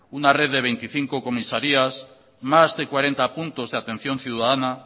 una red de veinticinco comisarías más de cuarenta puntos de atención ciudadana